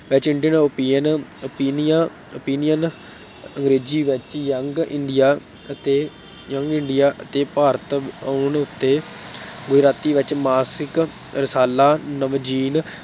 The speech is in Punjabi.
ਵਿੱਚ indian ਓਪੀਅਨ ਓਪੀਨੀਆ opinion ਅੰਗਰੇਜ਼ੀ ਵਿੱਚ young india ਅਤੇ young india ਅਤੇ ਭਾਰਤ ਆਉਣ ਉੱਤੇ ਗੁਜਰਾਤੀ ਵਿੱਚ ਮਾਸਿਕ ਰਸਾਲਾ ਨਵਜੀਨ